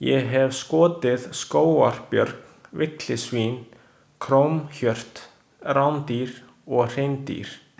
Ég hef skotið skógarbjörn, villisvín, krónhjört, rádýr og hreindýr.